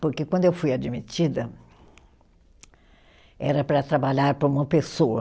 Porque quando eu fui admitida, era para trabalhar para uma pessoa.